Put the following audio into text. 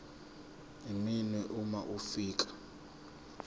iminwe uma ufika